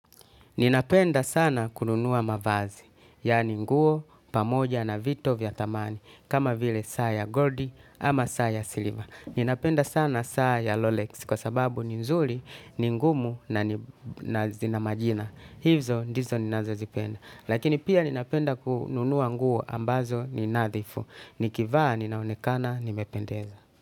Ninapenda sana kununua mavazi, yaani nguo, pamoja na vitu vya thamani, kama vile saa ya goldi ama saa ya silver. Ninapenda sana saa ya lolex kwa sababu ni nzuri, ni ngumu na zina majina. Hizo ndizo ninazozipenda. Lakini pia ninapenda kununua nguo ambazo ni nadhifu. Nikivaa ninaonekana, nimependeza.